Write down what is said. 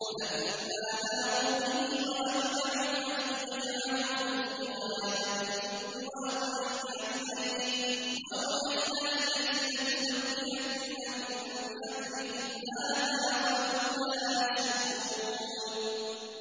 فَلَمَّا ذَهَبُوا بِهِ وَأَجْمَعُوا أَن يَجْعَلُوهُ فِي غَيَابَتِ الْجُبِّ ۚ وَأَوْحَيْنَا إِلَيْهِ لَتُنَبِّئَنَّهُم بِأَمْرِهِمْ هَٰذَا وَهُمْ لَا يَشْعُرُونَ